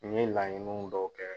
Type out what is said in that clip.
N ye laɲiniw dɔw kɛ.